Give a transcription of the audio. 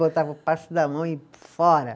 Botava o passe na mão e fora.